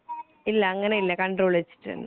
ഇല്ല ങ്ങനെ ഇല്ല കൺട്രോൾ വെച്ചിട്ട് തന്നെ